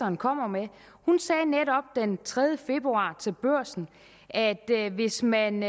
hun kommer med hun sagde netop den tredje februar til børsen at hvis man